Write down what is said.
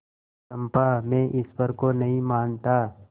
चंपा मैं ईश्वर को नहीं मानता